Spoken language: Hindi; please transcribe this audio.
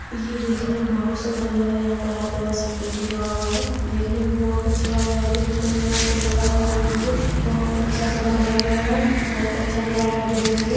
ये देखने में बोहोत सुंदर लग रहा है यहाँ पर हर जगह से सिक्युरिटी लगा हुआ है देखने मे बोहोत अच्छा लग रहा है देखने में बोहोत सुंदर लग रहा हैं ये मंदिर बोहोत अच्छा से बनाया गया है बोहोत अच्छा भी लग रहा है देखने में।